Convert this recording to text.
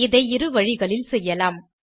இதை இரு வழிகளில் செய்யலாம் 1